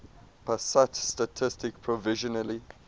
pusat statistik provisionally